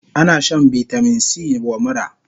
Ana shan vitamin C wa mura